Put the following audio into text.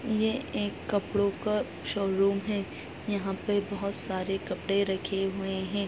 यह एक कपड़ो का शोरूम है यहां पे बहोत सारे कपड़े रखे हुए है।